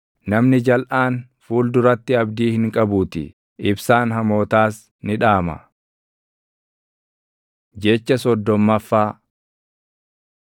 Namni jalʼaan fuul duratti abdii hin qabuutii; ibsaan hamootaas ni dhaama. Jecha soddommaffaa